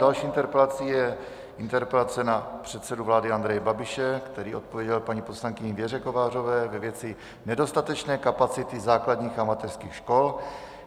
Další interpelací je interpelace na předsedu vlády Andreje Babiše, který odpověděl paní poslankyni Věře Kovářové ve věci nedostatečné kapacity základních a mateřských škol.